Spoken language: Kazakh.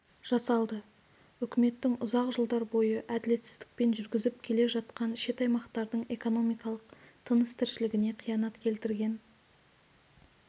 жасалды үкіметтің ұзақ жылдар бойы әділетсіздікпен жүргізіп келе жатқан шет аймақтардың экономикалық тыныс-тіршілігіне қиянат келтірген